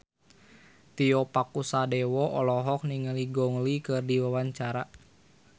Tio Pakusadewo olohok ningali Gong Li keur diwawancara